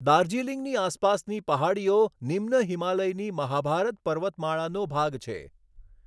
દાર્જિલિંગની આસપાસની પહાડીઓ નિમ્ન હિમાલયની મહાભારત પર્વતમાળાનો ભાગ છે.